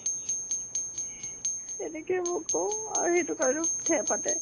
তেনেকে মই কওঁ আৰু সেইটো কাৰণেও ঠেহ পাতে।